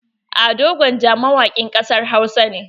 Ado gwanja mawakin ƙasar Hausa ne.